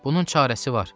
Bunun çarəsi var.